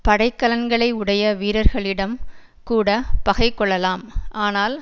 படைக்கலன்களை உடைய வீரர்களிடம் கூட பகை கொள்ளலாம் ஆனால்